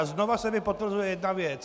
A znova se mi potvrzuje jedna věc.